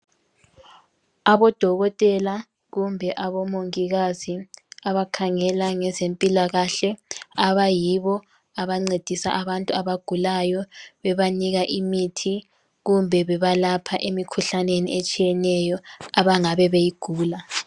aba odokotela kumbe abo omongikazi abakhangela ngezempilakahle abayibo abancedisa abantu abagulayo bebanika imithi kumbe bebalapha emikhuhlaneni etshiyeneyo abangabe beyigula